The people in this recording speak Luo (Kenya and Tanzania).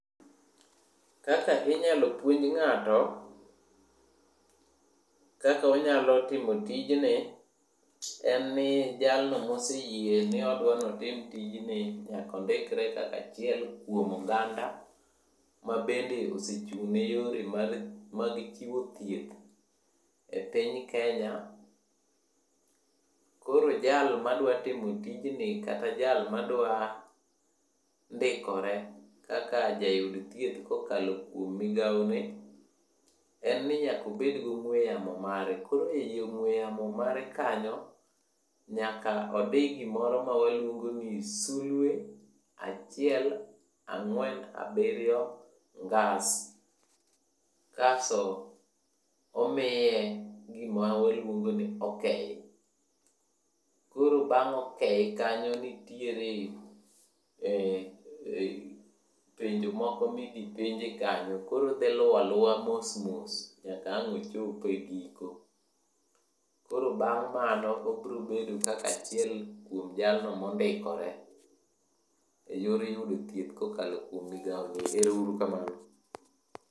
Kaka inyalo puonj ng'ato, kaka onyalo timo tijni, en ni jalno moseyie niodwaniotim tijni nyakondikre kaka achiel kuom oganda. Ma bende osechung' ne yore mag chiwo thieth e piny Kenya. Koro jalma dwa timo tijni kata jalma dwa ndikore kaka jayud thieth kokalo kuom migao ne, en ni nyakobed gong'we yamo mare. Koro ei ong'we yamo mare kanyo, nyaka odi gimoro mawaluongo ni sulwe, achiel ang'wen abiriyo ngas. Kaso, omiye gima waluongo ni okei. Koro bang' okei kanyo nitiere penjo moko midhipenje kanyo koro odhi luwaluwa mos mos nyaka ang' ochope giko. Koro bang' mano obrobedo kaka achiel kuom jalno mondikore, e yor thieth kokalo kuom migao no. Ero uru kamano.